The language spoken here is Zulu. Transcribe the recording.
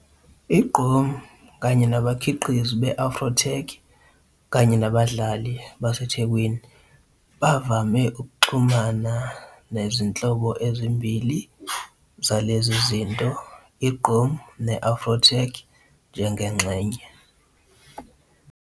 I-Gqom kanye nabakhiqizi be-afro-tech kanye nabadlali base-DJ bavame ukuxhumana nezinhlobo ezimbili zalezi zinto, i-gqom ne-afro'tech, njengengxenye.